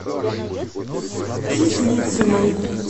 кислицыной